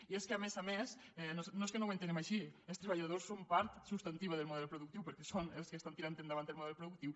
i és que a més a més no és que no ho entenguem així els treballadors són part substantiva del model productiu perquè són els que estan tirant endavant el model productiu